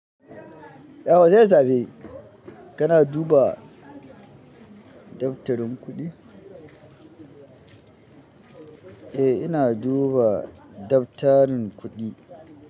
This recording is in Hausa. Ya za su zabi kana duba dabtarin kuɗi? Eh ina duba dabtarin kuɗi.